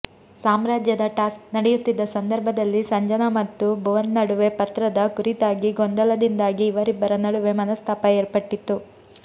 ಸಾಮ್ರಾಜ್ಯದ ಟಾಸ್ಕ್ ನಡೆಯುತ್ತಿದ್ದ ಸಂದರ್ಭದಲ್ಲಿ ಸಂಜನಾ ಮತ್ತು ಭುವನ್ನಡುವೆ ಪತ್ರದ ಕುರಿತಾಗಿ ಗೊಂದಲದಿಂದಾಗಿ ಇವರಿಬ್ಬರ ನಡುವೆ ಮನಸ್ತಾಪ ಏರ್ಪಟ್ಟಿತ್ತು